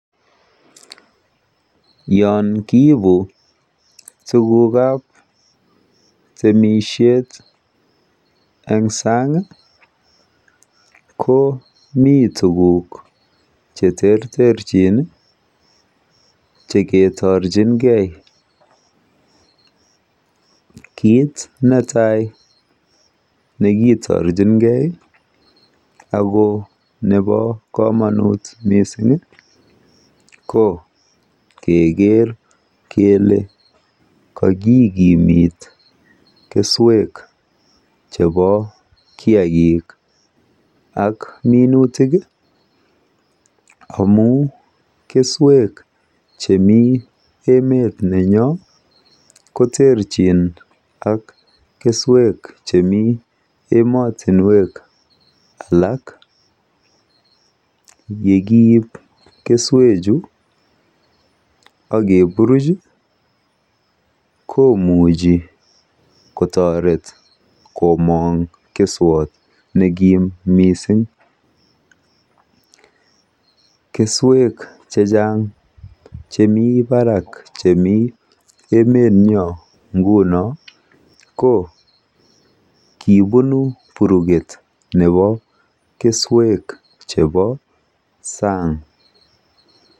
Yon kiipu tukukab temishet eng san'g ko mi tukuk che terterchin chekitorchingei. Kiit netai nekitorchingei ako nebo komonut mising ko keker kele kakikimit keswek chebo kiagik ak minutik amun keswek chemi emet nenyok koterchin ak keswek chemi emet age. Yekiip keswechu ak kepuruch komuchi kotoret komon'g keswat nemi nekim mising. Keswek chechan'g chemi barak chemi emenyo nguno ko kipunu puruget nebo keswek chebo san'g.